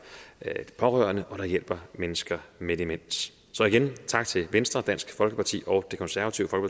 pårørende og som hjælper mennesker med demens så igen vil tak til venstre dansk folkeparti og det konservative